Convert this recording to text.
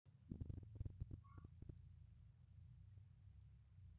lele olola loyawuaki ,keidim saa ataaku olangole lino leimina